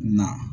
Na